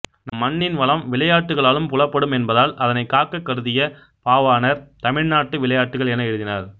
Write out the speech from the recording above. நம் மண்ணின் வளம் விளையாட்டுகளாலும் புலப்படும் என்பதால் அதனைக் காக்கக் கருதிய பாவாணர் தமிழ்நாட்டு விளையாட்டுகள் என எழுதினார்